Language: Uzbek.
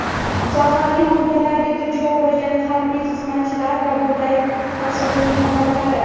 zaharli moddalarga duchor bo‘lgan harbiy xizmatchilar va bunday ta’sirning holatlari.